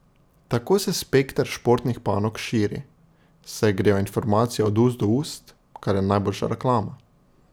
Tako se spekter športnih panog širi, saj grejo informacije od ust do ust, kar je najboljša reklama.